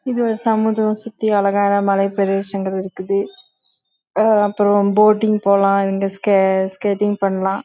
இங்க ஒரு மலை பிரசேதம் இருக்குது இங்க போட்டிங் போலாம் இங்க ஸ்நேகிதிங் பணம்